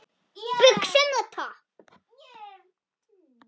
Buxum og topp?